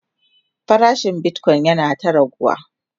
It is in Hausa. farashin Bitcoin yana ta raguwa